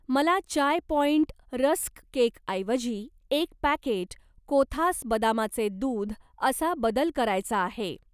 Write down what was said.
मला Chai Point rusk केकऐवजी एक पॅकेट कोथास बदामाचे दूध असा बदल करायचा आहे.